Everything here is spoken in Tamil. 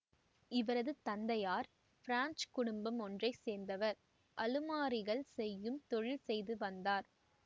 இவரது தந்தையார் பிரெஞ்சு குடும்பம் ஒன்றை சேர்ந்தவர் அலுமாரிகள் செய்யும் தொழில் செய்து வந்தார்